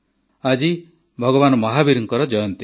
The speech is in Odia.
ଆଜି ଭଗବାନ ମହାବୀରଙ୍କ ଜୟନ୍ତୀ